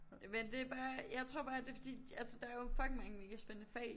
Men det bare jeg tror bare det fordi altså der er jo fucking mange mega spændende fag